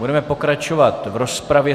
Budeme pokračovat v rozpravě.